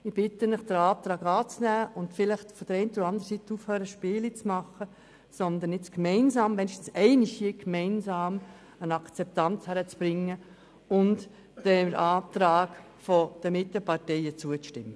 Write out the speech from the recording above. Ich bitte Sie, unseren Antrag anzunehmen und vielleicht auf der einen oder anderen Seite aufzuhören, Spiele zu treiben, sondern nun einmal hier gemeinsam eine Akzeptanz hinzukriegen und dem Antrag der Mitteparteien zuzustimmen.